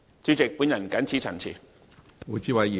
主席，我謹此陳辭。